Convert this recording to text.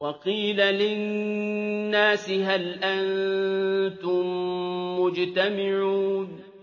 وَقِيلَ لِلنَّاسِ هَلْ أَنتُم مُّجْتَمِعُونَ